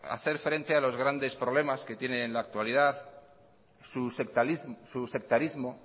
hacer frente a los grandes problemas que tiene en la actualidad